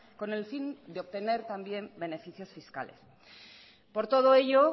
con el fin de obtener también beneficios fiscales por todo ello